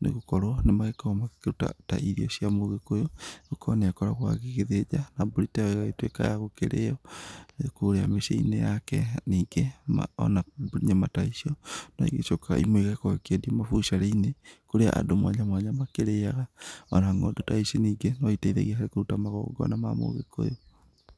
nĩ gũkorwo nĩmagĩkoragwo makĩruta ta irio cia mũgĩkũyũ nĩ gũkorwo nĩ akoragwo agĩthĩnja na mbũri ta ĩyo ĩgagĩtuĩka ya gũkĩrĩo nakũrĩa mĩciĩ-inĩ yake, ningĩ ona nyama ta icio nĩ icokaga imwe igagĩkorwo ikĩendio mabũcĩrĩ-inĩ kũrĩa andũ mwanya mwanya makĩrĩaga ona ng'ondu ta ici ningĩ no iteithagia harĩ kũruta magongona ma mũgĩkũyũ.